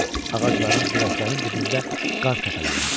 Ağacların, dirəklərin dibində qar təpələnmişdi.